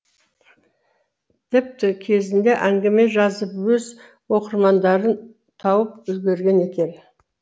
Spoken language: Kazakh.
тіпті кезінде әңгіме жазып өз оқырмандарын тауып үлгерген екен